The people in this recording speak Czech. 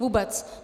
Vůbec.